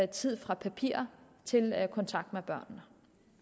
tid fra papir til kontakt med børnene